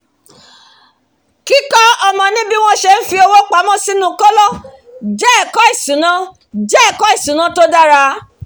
kíkọ́ ọmọ ní bí wọ́n ṣe ń fowó pamọ́ sínú kóló jẹ́ ẹ̀kọ́ ìṣúná jẹ́ ẹ̀kọ́ ìṣúná tó dára